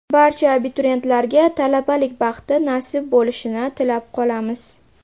Barcha abituriyentlarga talabalik baxti nasib bo‘lishini tilab qolamiz!